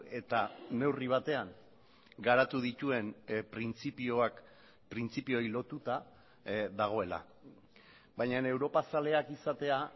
eta neurri batean garatu dituen printzipioak printzipioei lotuta dagoela baina europa zaleak izatea